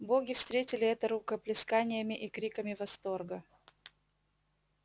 боги встретили это рукоплесканиями и криками восторга